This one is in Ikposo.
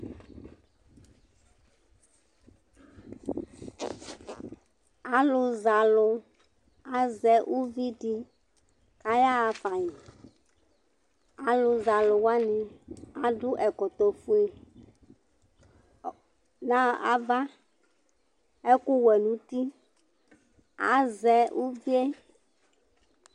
Alʊzalʊ, azɛ ʊʋɩ dɩ aƴaƴa fa Alʊzalʊ adʊ ɛkɔtɔ fʊe ŋava, ɛkʊ wɛ ŋʊ ʊtɩ, Azɛ ʊʋɩe